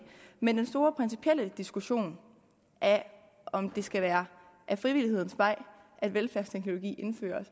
men den store principielle diskussion af om det skal være ad frivillighedens vej at velfærdsteknologi indføres